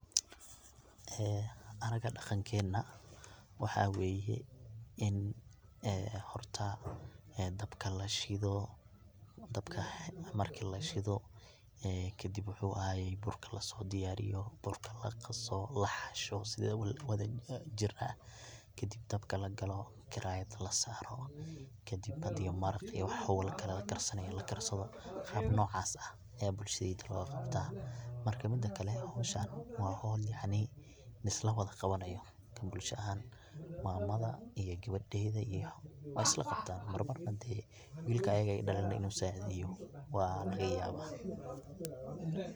ee anaga daqankena, waxa weye, in xorta dabka lashidho, dabka marki lashidho, ee kadib wu axaye burka lasodiyariyo, burka laqaso laxasho si wadhajir ah, kadib dabka lagalo karayada lasaro, kadib xadhi maraq iyo wax xowlakale lakarsanayo lakarsadho qab nocas axx aya bulshadeydha logaqabta, marka mida kale xowshan wa xol yacni lislawadha qawanayo ka bulsha axan, mamadha iyo gawadedha iyo way islaqabtan mar marna dee wilka ayaga ay dalen inu sacideyo walaqauawaa.